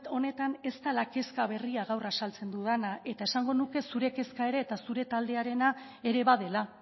honetan ez dela kezka berria gaur azaltzen dudana eta esango nuke zure kezka ere eta zure taldearena ere badela